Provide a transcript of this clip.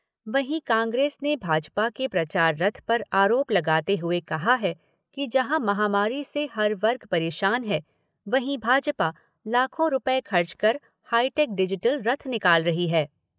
वहीं कांग्रेस ने भाजपा के प्रचार रथ पर आरोप लगाते हुए कहा है कि जहाँ महामारी से हर वर्ग परेशान है वहीं भाजपा लाखों रुपये खर्च कर हाईटेक डिजिटल रथ निकाल रही है।